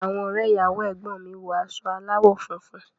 Àwọn ọrẹ ìyàwó ẹgbọn mi wọ aṣọ alawọ funfun.